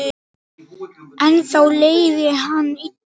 Ennþá leið henni illa.